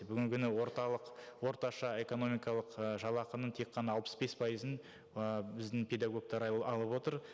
бүгінгі күні орталық орташа экономикалық ы жалақының тек қана алпыс бес пайызын ы біздің педагогтар алып отыр